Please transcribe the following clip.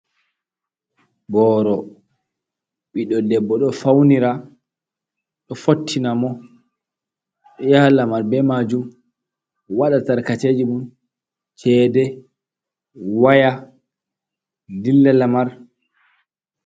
Booro ɓiɗɗo debbo, ɗo fawnira, ɗo fottina mo, ɗo yaha lamar be maajum, waɗa tarkaceeji mum, ceede, waya, dilla lamar.